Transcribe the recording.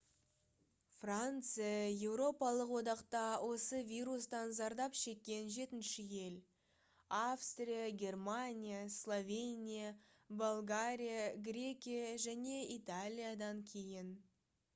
франция еуропалық одақта осы вирустан зардап шеккен жетінші ел австрия германия словения болгария грекия және италиядан кейін